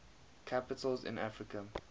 capitals in africa